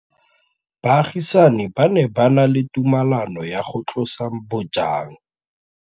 Baagisani ba ne ba na le tumalanô ya go tlosa bojang.